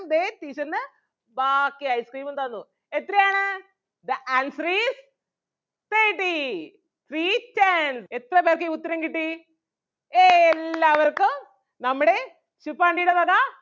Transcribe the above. ദേ teacher ന് ബാക്കി ice cream ഉം തന്നു എത്രയാണ് the answer is thirty three ten എത്ര പേർക്ക് ഈ ഉത്തരം കിട്ടി ഏയ് എല്ലാവർക്കും നമ്മുടെ ശുപ്പാണ്ടിടെ വക